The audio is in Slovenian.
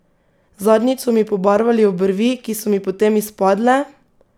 Zadnjič so mi pobarvali obrvi, ki so mi potem izpadle!